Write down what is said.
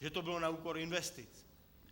Že to bylo na úkor investic.